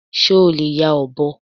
Ṣé o lè ya ọ̀bọ?